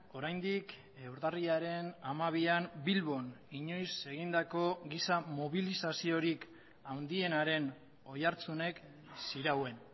oraindik urtarrilaren hamabian bilbon inoiz egindako giza mobilizaziorik handienaren oihartzunek zirauen